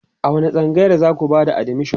a wani tsangayar zaku Bata admission?